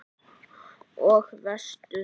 Og veistu.